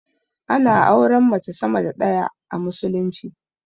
Ana auren mace sama da ɗaya a musulunci